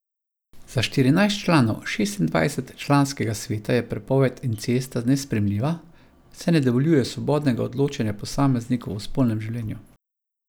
Za štirinajst članov šestindvajset članskega sveta je prepoved incesta nesprejemljiva, saj ne dovoljuje svobodnega odločanja posameznikov o spolnem življenju.